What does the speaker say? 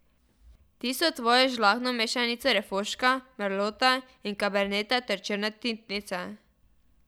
Tisto tvojo žlahtno mešanico refoška, merlota in kaberneta ter črne tintnice.